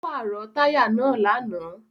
Ó pàrọ̀ táyà náà lánàá.